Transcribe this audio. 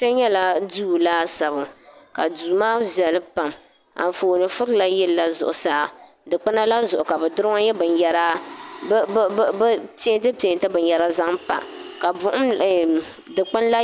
Ti nyala duu laasabu ka duu maa viɛli pam anfooni furila yillila zuɤusaa dukpuna la zuɤu ka bɛ bɛ peenti peenti binyɛra zaŋ m-pa ka ɛɛm dukpuni la